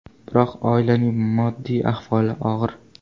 Biroq oilaning moddiy ahvoli og‘ir.